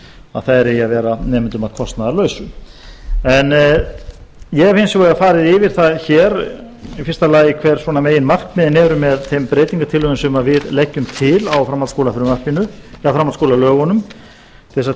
að þær eigi að vera nemendum að kostnaðarlausu en ég hef hins vegar farið yfir það hér í fyrsta lagi hver svona meginmarkmiðin eru með þeim breytingartillögum sem við leggjum til á framhaldsskólafrumvarpinu eða framhaldsskólalögunum til þess